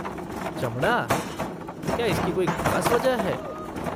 चमड़ा? क्या इसकी कोई खास वजह है?